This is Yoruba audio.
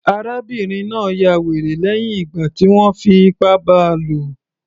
Arábìnrin náà ya wèrè lẹ́hìn ìgbà tí wọ́n fi ipá bá a lò